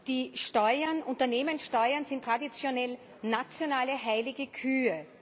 Die Steuern Unternehmenssteuern sind traditionell nationale heilige Kühe.